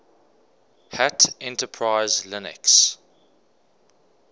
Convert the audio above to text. hat enterprise linux